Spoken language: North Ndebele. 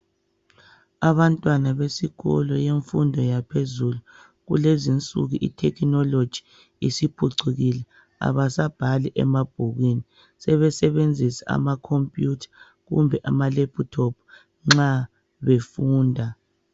Abantwana besikolo yemfundo yaphezulu kulezinsuku kule technology isiphucukile abasabhali emabhukwini sebesebenzisa ama computer kumbe ama laptop nxa befunda